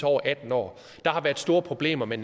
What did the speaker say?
over atten år der har været store problemer med